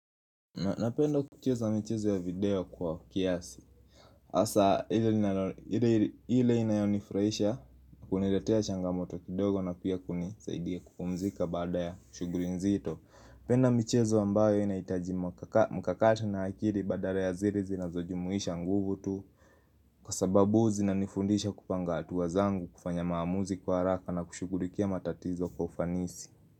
Napenda kucheza michezo ya video kwa kiasi. Hasa ile inayonifurahisha huniletea changamoto kidogo na pia kunisaidia kupumzika baada ya shughuli nzito Napenda michezo ambayo inahitaji mkakati na akili badala ya zile zinazojumuisha nguvu tu. Kwa sababu zinanifundisha kupanga hatua zangu kufanya maamuzi kwa haraka na kushughulikia matatizo kwa ufanisi.